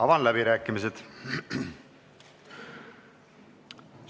Avan läbirääkimised.